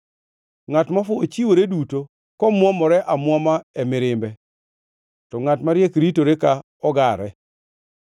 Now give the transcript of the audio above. Ngʼat mofuwo chiwore duto komwomore amwoma e mirimbe, to ngʼat mariek ritore ka ogare.